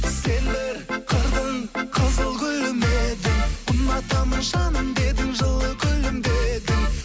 сен бір қырдың қызыл гүлі ме едің ұнатамын жаным дедің жылы күлімдедің